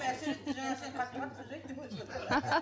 жаңа сен қатты қатты сөз айттың